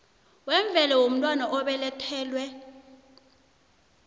wemvelo womntwana obelethelwe